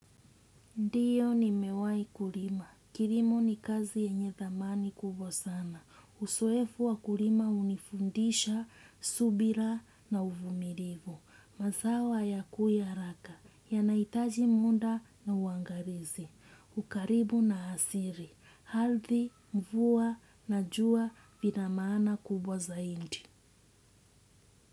Ndiyo nimewai kulima. Kilimo ni kazi yenye thamani kubwa sana. Uzoefu wa kulima hunifundisha, subira na uvumilivu. Mazawa ya kua raka. Yanahitaji muda na uangalizi. Ukaribu na asili. Ardhi, mvua, na jua vina maana kubwa zaidi.